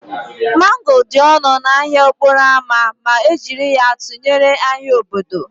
Mango dị ọnụ n'ahịa okporo ámá ma e jiri ya tụnyere ahịa obodo